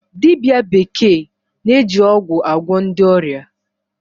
Dibia bekee na-eji ọgwụ agwọ ndị ọrịa.